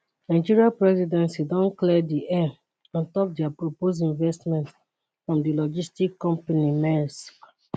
nigeria presidency don clear di air on top dia proposed investment from di logistics company maersk